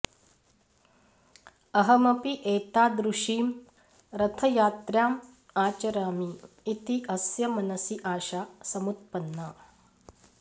अहमपि एतादृशीं रथायात्राम् आचरामि इति अस्य मनसि आशा समुत्पन्ना